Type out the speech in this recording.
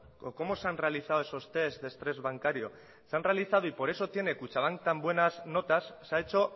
o cómo se han realizado esos test de estrés bancario se han realizado y por eso tiene kutxabank tan buenas notas se ha hecho